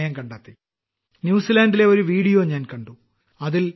ആയിരക്കണക്കിനു മൈൽ ദൂരെയുള്ള ന്യൂസിലാൻഡിലെ ഒരു വീഡിയോ ഞാൻ കണ്ടു